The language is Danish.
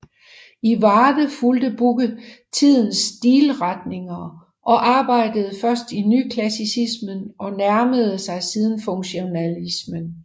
I Varde fulgte Bugge tidens stilretninger og arbejdede først i nyklassicismen og nærmede sig siden funktionalismen